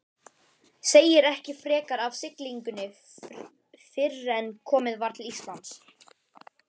Segir ekki frekar af siglingunni fyrren komið var til Íslands.